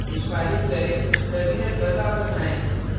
निष्पादित करें terminal पर वापस आएँ